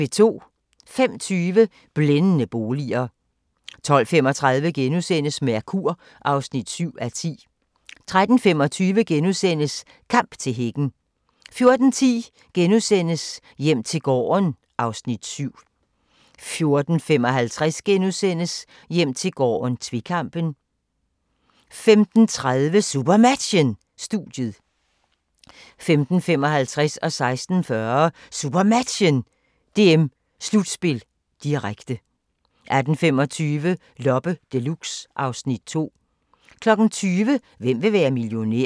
05:20: Blændende boliger 12:35: Mercur (7:10)* 13:25: Kamp til hækken * 14:10: Hjem til gården (Afs. 7)* 14:55: Hjem til gården - tvekampen * 15:30: SuperMatchen: Studiet 15:55: SuperMatchen: DM-slutspil, direkte 16:40: SuperMatchen: DM-slutspil, direkte 18:25: Loppe Deluxe (Afs. 2) 20:00: Hvem vil være millionær?